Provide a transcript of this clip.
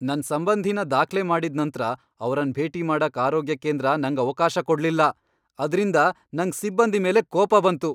ನನ್ ಸಂಬಂಧಿನ ದಾಖ್ಲೆ ಮಾಡಿದ್ ನಂತ್ರ ಅವರನ್ ಭೇಟಿ ಮಾಡಕ್ ಆರೋಗ್ಯ ಕೇಂದ್ರ ನಂಗ್ ಅವ್ಕಾಶ ಕೊಡ್ಲಿಲ್ಲ. ಅದ್ರಿಂದ ನಂಗ್ ಸಿಬ್ಬಂದಿ ಮೇಲೆ ಕೋಪ ಬಂತು.